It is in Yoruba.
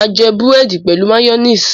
máa jé Búrẹ́di pẹlú mayonnaise.